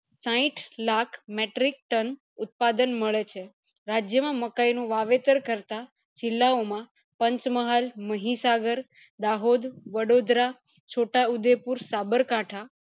સાઈઠ lakh metric ton ઉત્પાદન મળે છે રાજ્ય માં મકાય નું વાવેતર કરતા જીલ્લા ઓ માં પંચમહાલ, મહીસાગર, દાહોદ, વડોદરા, છોટા ઉદયપુર, સાબરકાંઠા